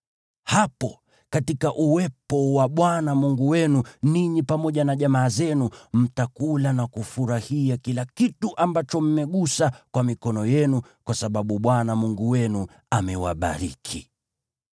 Hapo, katika uwepo wa Bwana Mungu wenu, ninyi pamoja na jamaa zenu, mtakula na kufurahia kila kitu ambacho mmegusa kwa mikono yenu, kwa sababu Bwana Mungu wenu amewabariki.